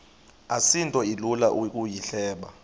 asinto ilula ukuyihleba